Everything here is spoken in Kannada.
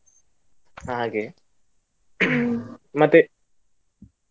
ಹಾಗೆ ಮತ್ತೆ?